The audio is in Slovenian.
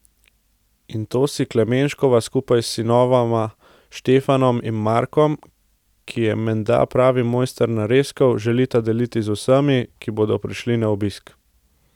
In to si Klemenškova, skupaj s sinovoma Štefanom in Markom, ki je menda pravi mojster narezkov, želita deliti z vsemi, ki bodo prišli na obisk.